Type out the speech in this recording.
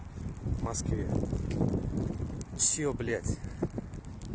в москве все блять